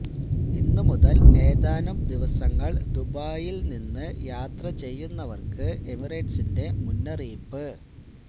ഇന്നുമുതല് ഏതാനും ദിവസങ്ങള് ദുബായില് നിന്ന് യാത്ര ചെയ്യുന്നവര്ക്ക് എമിറേറ്റ്സിന്റെ മുന്നറിയിപ്പ്